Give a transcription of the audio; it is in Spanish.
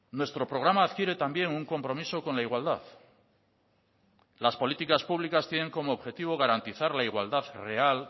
nuestro programa adquiere también un compromiso con la igualdad las políticas públicas tienen como objetivo garantizar la igualdad real